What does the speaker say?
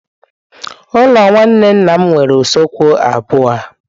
Ụlọ nwanne nna m nwere usekwu abụọ.